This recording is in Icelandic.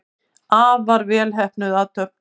Afar vel heppnuð athöfn.